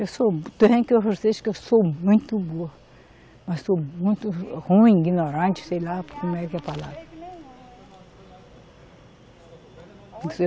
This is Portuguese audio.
Eu sou muito vocês que eu sou muito burra, sou muito ruim, ignorante, sei lá como é que é a palavra.